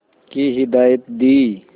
की हिदायत दी